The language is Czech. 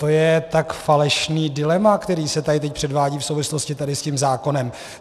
To je tak falešné dilema, které se tady teď předvádí v souvislosti tady s tím zákonem.